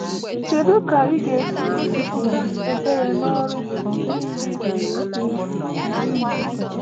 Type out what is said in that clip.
Kedu ka ị ga-esi gosipụta ebere n’ọrụ gị?